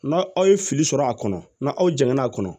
N'a aw ye fili sɔrɔ a kɔnɔ n'aw janyana a kɔnɔ